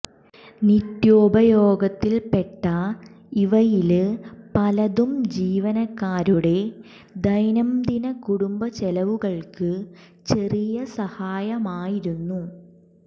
നിത്യോപയോഗത്തില്പ്പെട്ട ഇവയില് പലതും ജീവനക്കാരുടെ ദൈനംദിന കുടുംബ ചെലവുകള്ക്ക് ചെറിയ സഹായമായിരുന്നു